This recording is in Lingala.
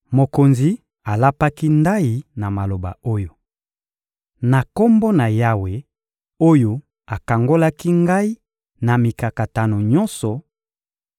Mokonzi alapaki ndayi na maloba oyo: — Na Kombo na Yawe oyo akangolaki ngai na mikakatano nyonso,